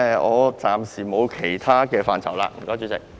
我暫時沒有其他意見，多謝主席。